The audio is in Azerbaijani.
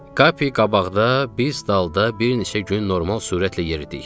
Kapi qabaqda, biz dalda bir neçə gün normal sürətlə yeridik.